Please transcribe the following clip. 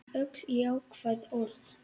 Öll jákvæð orð.